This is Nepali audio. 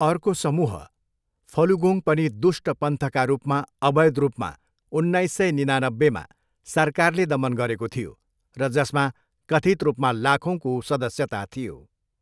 अर्को समूह, फलुगोङ पनि दुष्ट पन्थका रूपमा अवैध रूपमा उन्नाइस सय निनानाब्बेमा सरकारले दमन गरेको थियो र जसमा कथित रूपमा लाखौँको सदस्यता थियो।